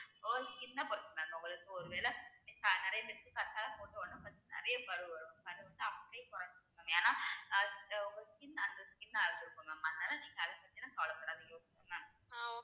ஒரு skin ஆ பொறுத்து mam உங்களுக்கு ஒருவேளை skin நெறைய பரு வரும் அதவிட்டா அப்படியே குறையும் mam ஏன்னா அது ஒவ்வொரு skin அந்த skin ஆ இருக்கும் mam அதுனால நீங்க அதைப்பதிலாம் கவலைபடாதீங்க